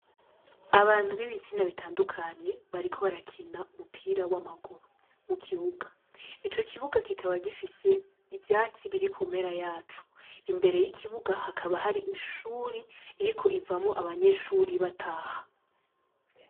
Abantu b'ibitsina bitandukanye bariko barakina umupira w'amaguru mu kibuga, ico kibuga kikaba gifise ivyatsi biri kumpera zaco, imbere y'ikibuga hakaba hari ishuri iriko ivamwo abanyeshuri bataha.